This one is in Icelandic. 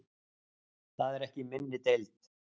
Það er ekki í minni deild.